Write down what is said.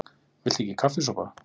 VILTU EKKI KAFFISOPA?